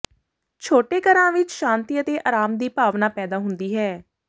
ਛੋਟੇ ਘਰਾਂ ਵਿਚ ਸ਼ਾਂਤੀ ਅਤੇ ਆਰਾਮ ਦੀ ਭਾਵਨਾ ਪੈਦਾ ਹੁੰਦੀ ਹੈ